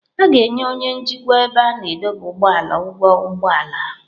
A ga-enye onye njikwa ebe a na-adọba ụgbọala ụgwọ ụgbọ ala.